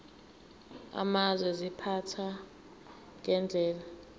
amazwe ziphathwa ngendlela